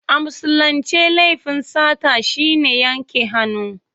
A Musulince laifin sata shi ne yanke hannu.